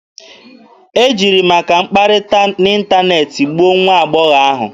E jiri maka mkpakọrịta n'ịntaneetị gbuo nwa agbọghọ ahụ.